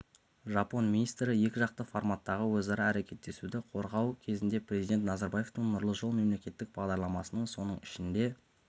жапон министрі екіжақты форматтағы өзара әрекеттесуді қозғау кезінде президент назарбаевтың нұрлы жол мемлекеттік бағдарламасының соның ішінде